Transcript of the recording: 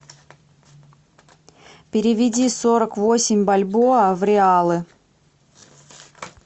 переведи сорок восемь бальбоа в реалы